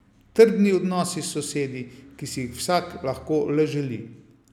Trdni odnosi s sosedi, ki si jih vsak lahko le želi!